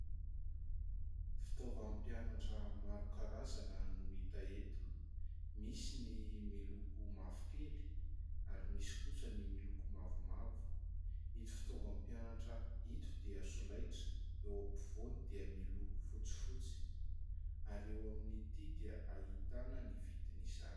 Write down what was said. Fitaovam-pianatra maro karazana no hita eto. Misy ny miloko mavokely ary misy kosa ny miloko mavomavo. Ito fitaovam-pianatra ito dia solaitra. Eo ampovoany dia miloko fotsifotsy ary eo amin'ity dia ahitana ny vidin'izany.